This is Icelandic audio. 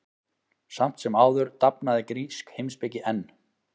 Samt sem áður dafnaði grísk heimspeki enn.